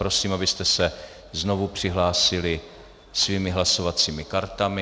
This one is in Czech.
Prosím, abyste se znovu přihlásili svými hlasovacími kartami.